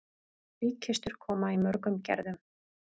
Líkkistur koma í mörgum gerðum.